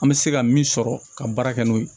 An bɛ se ka min sɔrɔ ka baara kɛ n'o ye